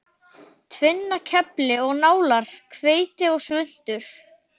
Tvinnakefli og nálar, hveiti og svuntur.